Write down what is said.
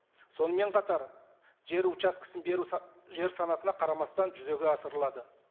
сонымен қатар жер участкісін беру жер санатына қарамастан жүзеге асырылады